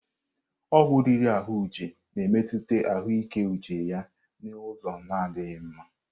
Ọgwụ riri ahụ Uche na-emetụta ahụike uche ya n'ụzọ na adịghị mma.